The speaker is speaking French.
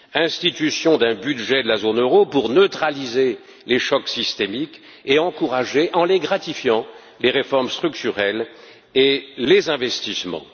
institution d'un budget de la zone euro pour neutraliser les chocs systémiques et encourager, en les gratifiant, les réformes structurelles et les investissements